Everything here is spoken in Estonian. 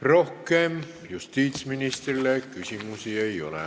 Rohkem justiitsministrile küsimusi ei ole.